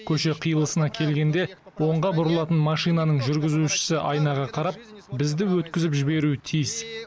көше қиылысына келгенде оңға бұрылатын машинаның жүргізушісі айнаға қарап бізді өткізіп жіберуі тиіс